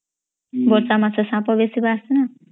ବର୍ଷା ମାସ ସାପ ବେସୀ ବାହାରେ